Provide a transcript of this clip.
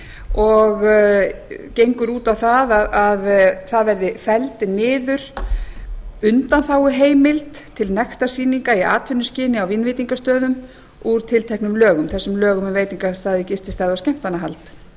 og gengur út á að það verði felld niður undanþáguheimild til nektarsýninga í atvinnuskyni á vínveitingastöðum úr tilteknum lögum þessum lögum um veitingastaði gististaði og skemmtanahald